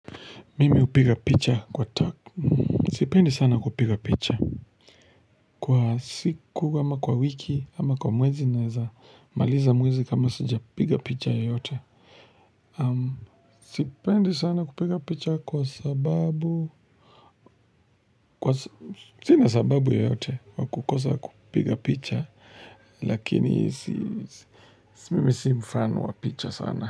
Mimi hupiga picha kwa tap. Sipendi sana kupiga picha. Kwa siku, ama kwa wiki, ama kwa mwezi naweza maliza mwezi kama sij piga picha yoyote. Sipendi sana kupiga picha kwa sababu. Sina sababu yoyote. Kwa kukosa kupiga picha. Lakini mimi si mfano wa picha sana.